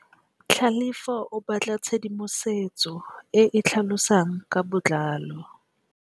Tlhalefô o batla tshedimosetsô e e tlhalosang ka botlalô.